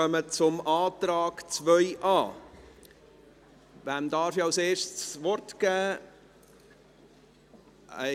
Die Umsetzung dieses Beschlusses auf die Direktionen und Produktegruppen hat nach Massgabe der entsprechend beantragten Stellen zu erfolgen.